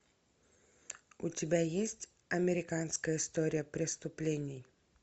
у тебя есть американская история преступлений